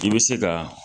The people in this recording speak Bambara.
I bɛ se ka